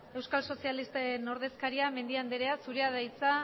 euskal sozialisten ordezkaria mendia andrea zurea da hitza